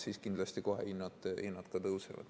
Siis kindlasti kohe hinnad ka tõusevad.